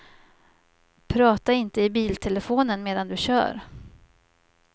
Prata inte i biltelefonen medan du kör.